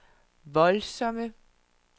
voldsomme